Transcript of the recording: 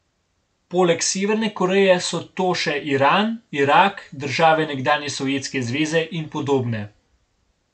Poleg Severne Koreje so to še Iran, Irak, države nekdanje Sovjetske zveze in podobne.